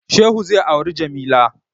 Shehu zai auri Jamila.